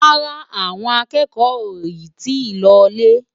Rárá, àwọn akẹ́kọ̀ọ́ ò yì tí ì lọ lé.